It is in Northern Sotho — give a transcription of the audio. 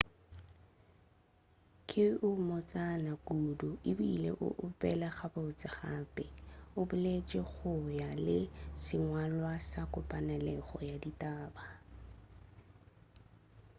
ke o mmotsana kudu ebile o opela gabotse gape o boletši go ya le ka sengwalwa sa kopanelo ya ditaba